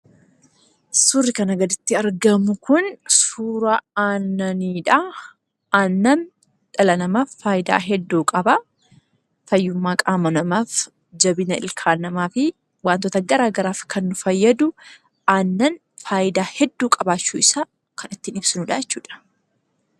Suurri kana gaditti argamu kun suura aannaniidha. Aannan dhala namaaf faayidaa hedduu qaba: fayyummaa qaama namaaf, jabina ilkaan namaa fi waantota garaa garaaf kan nu fayyadu, aannan faayidaa hedduu qabaachuu isaa kan ittiin ibsinuudha jechuudha.